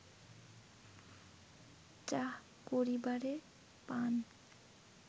চাহ করিবারে পান